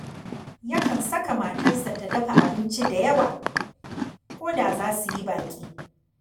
Yakan saka matarsa ta dafa abinci da yawa ko da za su yi baƙi